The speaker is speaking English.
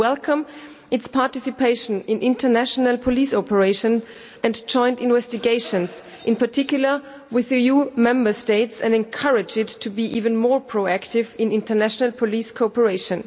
We welcome its participation in international police operations and joint investigations, in particular with EU Member States, and urge it to be even more proactive in international police cooperation.